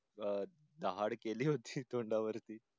अं चहाड केली होती तोंडावरी